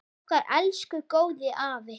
Okkar elsku góði afi!